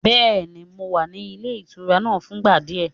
Bẹ́ẹ̀ni, mo wà nílé ìtura náà fúngbà díẹ̀.